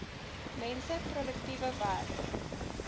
mense produktiewe werk